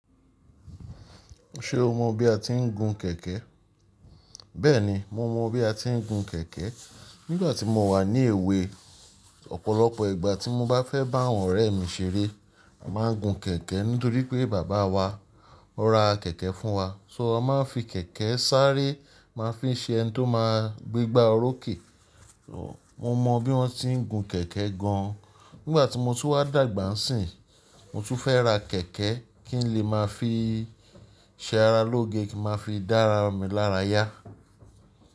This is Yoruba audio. Ṣé o mọ bí a ti ń gun kẹ̀kẹ́? Bẹ́ẹ̀ni, mo mọ bí a ti ń gun kẹ̀kẹ́. Nígbà tí mo wà ní èwe, ọ̀pọ̀lọpọ̀ ìgbà tí mo bá fẹ́ bá àwọn ọ̀rẹ́ mi ṣeré, a máa ń gun kẹ̀kẹ́ nítorí pé bàbá wa ó ra kẹ̀kẹ́ fún wa. So a máa ń fi kẹ̀kẹ́ sáré, máa ń fi ṣe ẹni tó máa gbégbá orókè. So mo mọ bí wọ́n ti ń gun kẹ̀kẹ́ gan. Nígbà tí mo tó wá dàgbà sì, mo tún fẹ́ ra kẹ̀kẹ́ kí n lè máa fi ṣe ara lóge kí a máa fi dá ara mi lára yá.